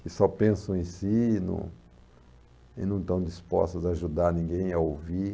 Que só pensam em si e não e não estão dispostas a ajudar ninguém a ouvir.